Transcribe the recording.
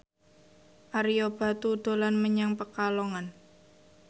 Ario Batu dolan menyang Pekalongan